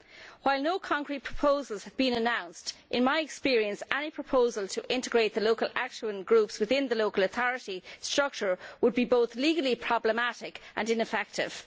While no concrete proposals have been announced, in my experience any proposal to integrate the local action groups into the local authority structure would be both legally problematic and ineffective.